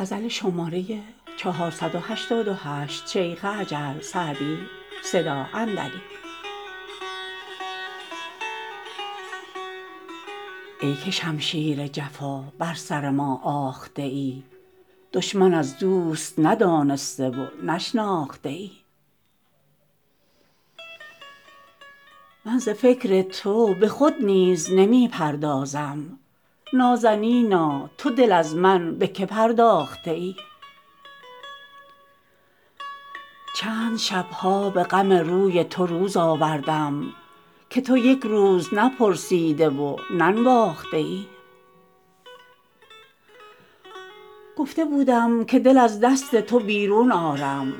ای که شمشیر جفا بر سر ما آخته ای دشمن از دوست ندانسته و نشناخته ای من ز فکر تو به خود نیز نمی پردازم نازنینا تو دل از من به که پرداخته ای چند شب ها به غم روی تو روز آوردم که تو یک روز نپرسیده و ننواخته ای گفته بودم که دل از دست تو بیرون آرم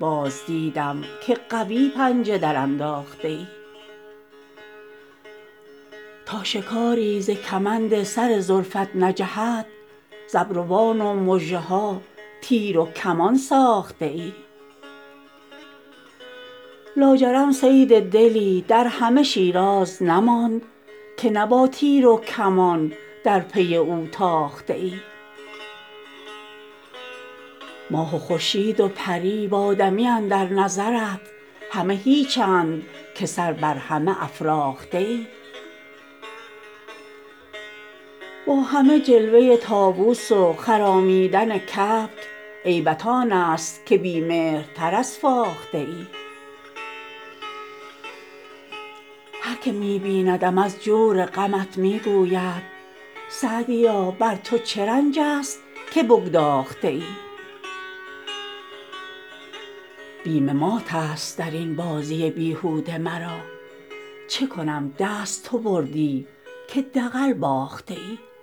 باز دیدم که قوی پنجه درانداخته ای تا شکاری ز کمند سر زلفت نجهد ز ابروان و مژه ها تیر و کمان ساخته ای لاجرم صید دلی در همه شیراز نماند که نه با تیر و کمان در پی او تاخته ای ماه و خورشید و پری و آدمی اندر نظرت همه هیچند که سر بر همه افراخته ای با همه جلوه طاووس و خرامیدن کبک عیبت آن است که بی مهرتر از فاخته ای هر که می بیندم از جور غمت می گوید سعدیا بر تو چه رنج است که بگداخته ای بیم مات است در این بازی بیهوده مرا چه کنم دست تو بردی که دغل باخته ای